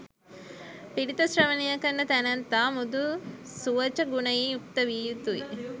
පිරිත ශ්‍රවණය කරන තැනැත්තා මෘදු, සුවච ගුණයෙන් යුක්ත විය යුතුයි.